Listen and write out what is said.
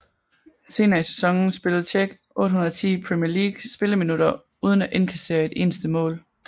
Senere i sæsonen spillede Čech 810 Premier League spilleminutter uden at indkassere et eneste mål